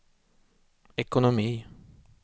ekonomi